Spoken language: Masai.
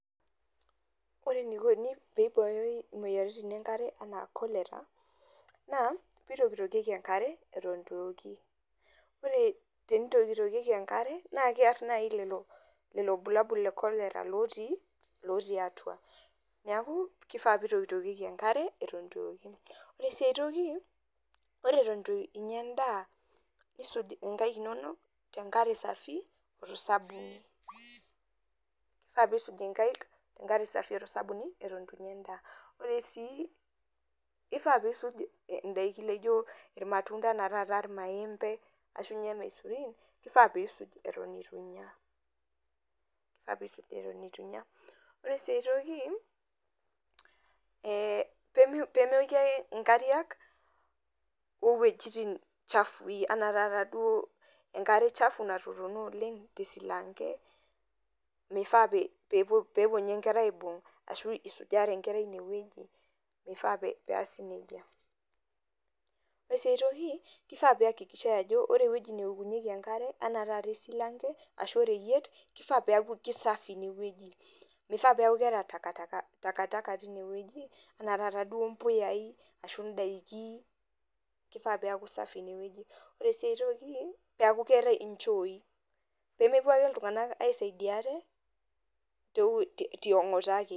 Ore enikoni pibooyoi imoyiaritin enkare enaa cholera, naa, pitokitokieki enkare, eton itu eoki. Ore tenitokitokieki enkare, na kear nai lelo bulabul le cholera lotii, lotii atua. Neeku, kifaa pitokitokieki eton itu eoki. Ore si ai toki, ore eton itu inya endaa, nisuj inkaik inonok, tenkare safi, oto sabuni. Kifaa pisuj inkaik tenkare safi oto sabuni, eton itu inya endaa. Ore si kifaa pisuj idaiki naijo irmatunda enaa taata irmaembe, ashunye irmaisurin, kifaa pisuj eton itu inya. Kifaa pisuj eton itu inya. Ore si ai toki, pemeoki ake inkariak, owejiting chafui, enaa taata duo enkare chafu natotona oleng tesilanke, mifaa pepuo nye nkera aibung',ashu isujare nye nkera inewueji, mifaa peas nejia. Ore si ai toki, kifaa peakikishai ajo, ore ewoji neokunyeki enkare, enaa taata esilanke ashu oreyiet, kifaa peku kisafi inewueji. Mifaa peku keeta takataka tinewueji. Enaa taata duo mpuyayai, ashu idaiki, kifaa peku safi inewueji. Ore si ai toki, neku keetae inchooi, pemepuo ake iltung'anak aisaidia ate, tiong'ota ake.